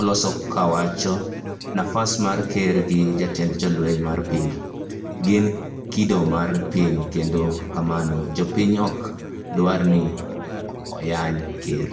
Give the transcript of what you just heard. oloso kwa owacho nafas mar ker gi jatend jolweny mar piny, gin kido mar piny kendo kamano (japiny) ok dware ni oyanyo ker